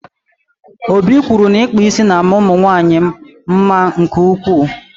Obi kwụrụ na ịkpa ísì na ama ụmụnwanyị mma nke ụkwụ